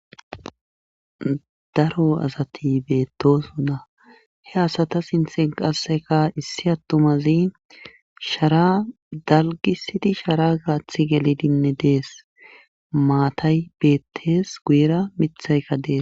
daro asati beettoosona he asata sithen qassika issi attumazi sharaa dalggissidi sharaa gaathi gelidinne dees maatay beettes guyera mathayka des.